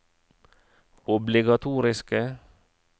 obligatoriske